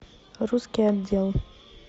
русский отдел